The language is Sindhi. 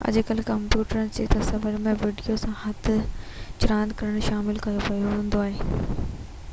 اڄڪلهه ڪمپيوٽرن کي تصويرن ۽ وڊيوز سان هٿ چراند ڪرڻ لاءِ استعمال ڪيو ويندو آهي